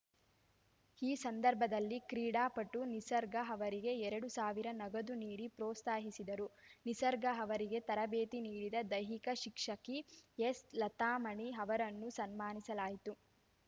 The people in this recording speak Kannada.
ಈ ಸಂದರ್ಭದಲ್ಲಿ ಕ್ರೀಡಾಪಟು ನಿಸರ್ಗ ಅವರಿಗೆ ಎರಡು ಸಾವಿರ ನಗದು ನೀಡಿ ಪ್ರೋತ್ಸಾಹಿಸಿದರು ನಿಸರ್ಗ ಅವರಿಗೆ ತರಬೇತಿ ನೀಡಿದ ದೈಹಿಕ ಶಿಕ್ಷಕಿ ಎಸ್‌ಲತಾಮಣಿ ಅವರನ್ನೂ ಸನ್ಮಾನಿಸಲಾಯಿತು